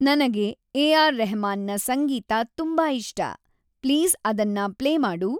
ನನಗೆ ಏ.ಆರ್‌ ರೆಹ್ಮಾನ್‌ನ ಸಂಗೀತತುಂಬಾ ಇಷ್ಟ ಪ್ಲೀಸ್‌ ಅದನ್ನ ಪ್ಲೇ ಮಾಡು